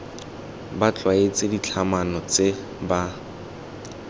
ba tlwaetse ditlhatlhamano tse ba